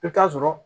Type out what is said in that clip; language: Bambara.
I bɛ taa sɔrɔ